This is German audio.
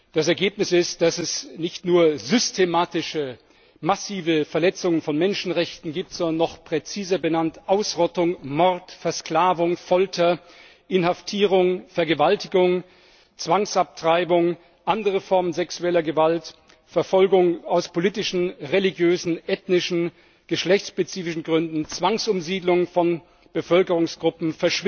Das Ergebnis ist, dass es nicht nur systematische, massive Verletzungen von Menschenrechten gibt, sondern, noch präziser benannt Ausrottung, Mord, Versklavung, Folter, Inhaftierung, Vergewaltigung, Zwangsabtreibung, andere Formen sexueller Gewalt, Verfolgung aus politischen, religiösen, ethnischen, geschlechtsspezifischen Gründen, Zwangsumsiedlung von Bevölkerungsgruppen,